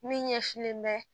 Min ɲɛsinlen bɛ